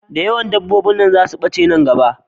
Da yawan dabobbin nan za su bace nan gaba